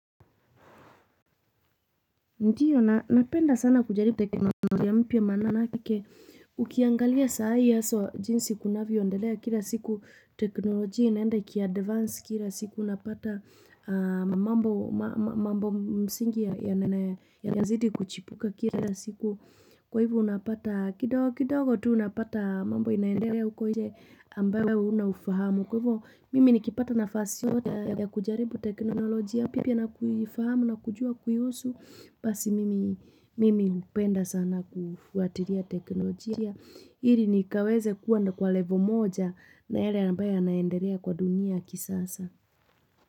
Ndiyo, napenda sana kujaribu teknolojia mpya manake ukiangalia saai hawsa jinsi kunavyoendelea kila siku teknolojia inaende ikiadvance kila siku unapata mambo msingi yanazidi kuchipuka kila siku kwa hivyo unapata kidogo tu unapata mambo inaendelea huko inje ambayo huna ufahamu kwa hivyo mimi nikipata nafasi yoyote ya kujaribu teknolojia mpya na kuifahamu na kujua kuihusu basi mimi hupenda sana kufuatiria teknolojia hili nikaweze kuwa kwa level moja na yale ambaye yanaenderea kwa dunia ya kisasa.